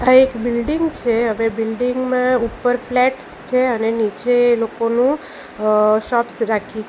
એક બિલ્ડીંગ છે હવે બિલ્ડિંગ માં ઉપર ફ્લેટ્સ છે અને નીચે લોકોનું અ શોપ્સ રાખી છ --